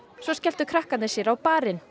svo skelltu krakkarnir sér á barinn